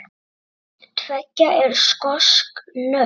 Hvort tveggja eru skosk nöfn.